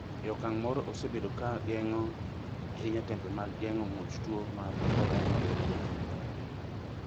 e okang' moro osebedo ka geng’o ahinya tembe mag geng’o muoch tuo mar Ebola nyadi riyo